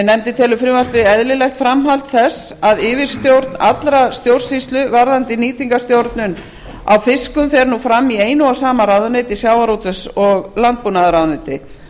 nefndin telur frumvarpið eðlilegt framhald þess að yfirstjórn allrar stjórnsýslu varðandi nýtingarstjórnun á fiskum fer nú fram í einu og sama ráðuneyti sjávarútvegs og landbúnaðarráðuneyti